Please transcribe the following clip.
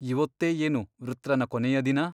ಇವೊತ್ತೇ ಏನು ವೃತ್ರನ ಕೊನೆಯ ದಿನ?